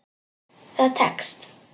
Það tekst.